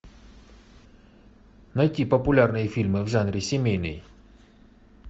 найти популярные фильмы в жанре семейный